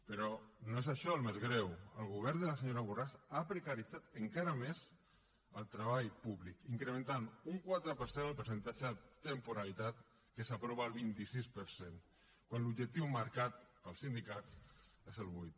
però no és això el més greu el govern de la senyora borràs ha precaritzat encara més el treball públic en què s’ha incrementat un quatre per cent el percentatge de temporalitat que s’apropa al vint sis per cent quan l’objectiu marcat pels sindicats és el vuit